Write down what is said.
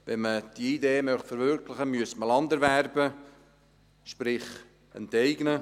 Wenn man diese Idee verwirklichen möchte, müsste man Land erwerben, sprich enteignen.